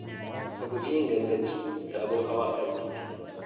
Ka guji yin ganganci da abun hawa a kan titi.